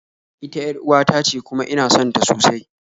Ita yar'uwa tace kuma ina sonta sosai